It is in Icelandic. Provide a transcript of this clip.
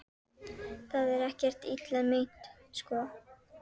Það er ekkert illa meint, sko.